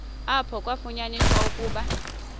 apho kwafunyaniswa ukuba